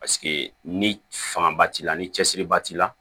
Paseke ni fanga ba t'i la ni cɛsiri ba t'i la